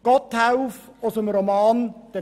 » Gotthelf aus dem Roman «